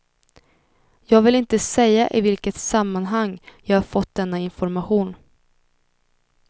Jag vill inte säga i vilket sammanhang jag har fått denna information.